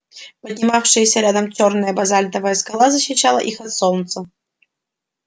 поднимавшаяся рядом чёрная базальтовая скала защищала их от солнца